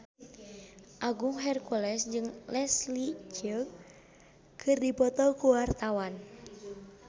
Agung Hercules jeung Leslie Cheung keur dipoto ku wartawan